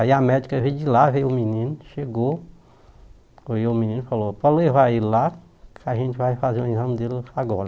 Aí a médica veio de lá, veio o menino, chegou, olhou o menino e falou, pode levar ele lá que a gente vai fazer o exame dele agora.